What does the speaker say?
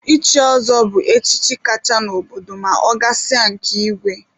Ichi ọzọ bụ echichi kacha n'obodo ma ọ gasịa nke igwe.